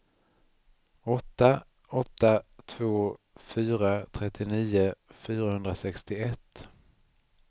åtta åtta två fyra trettionio fyrahundrasextioett